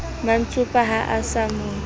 mantsopa ha a sa mo